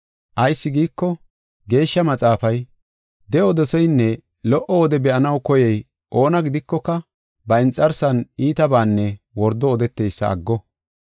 Ayis giiko, Geeshsha Maxaafay, “De7o doseynne lo77o wode be7anaw koyey oona gidikoka ba inxarsan iitabaanne wordo odeteysa aggo.